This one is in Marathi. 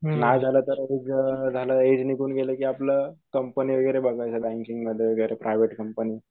नाय झाल तर एक एज निघून गेलं कि आपलं कंपनी वगैरे बघायचं बँकिंगमध्ये वैगरे प्रायव्हेट कंपनी